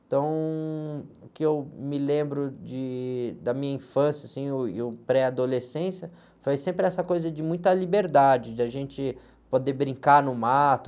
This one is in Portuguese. Então, o que eu me lembro de, da minha infância, assim, e o, e o, pré-adolescência foi sempre essa coisa de muita liberdade, de a gente poder brincar no mato.